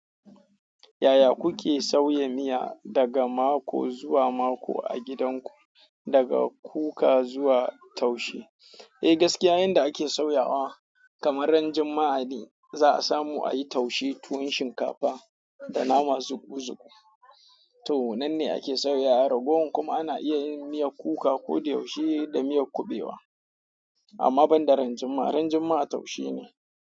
Yaya kuke sauya miya daga mako zuwa mako a gidanku, daga kuka zuwa taushe? Eh gaskiya, yanda ake sauyawa kamar ran Juma'a ne za a samu ayi taushe tuwon shinkafa da nama zukuzuku. To nanne ake sauyawa ragowar kuma ana iya yin miyar kuka ko da yaushe da miyar kubewa amma banda ran Juma'a, ran Juma'a taushe ne.